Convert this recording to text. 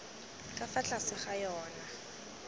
ka fa tlase ga yona